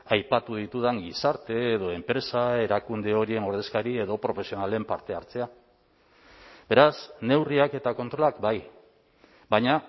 aipatu ditudan gizarte edo enpresa erakunde horien ordezkari edo profesionalen parte hartzea beraz neurriak eta kontrolak bai baina